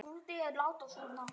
Hvar er drifið mitt?